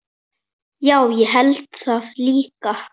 Já, ég held það líka.